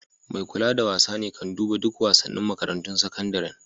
Mai kulawa da wasa ne kan duban duk wasanin makarantun sakandaren.